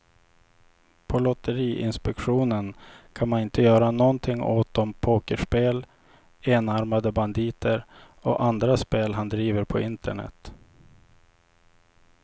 På lotteriinspektionen kan man inte göra någonting åt de pokerspel, enarmade banditer och andra spel han driver på internet.